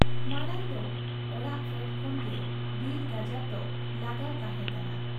ᱢᱟᱬᱟᱝ ᱫᱚ ᱚᱟᱲᱟᱜ ᱯᱷᱮᱰ ᱠᱷᱚᱱ ᱜᱮ ᱵᱤᱨ ᱜᱟᱡᱟᱲ ᱫᱚ ᱞᱟᱜᱟᱣ ᱛᱟᱦᱮᱸ ᱠᱟᱱᱟ ᱾